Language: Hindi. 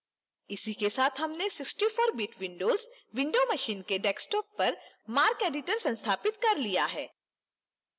इसी के साथ हमने 64bit windows windows machine के desktop पर marceditor संस्थापित कर लिया है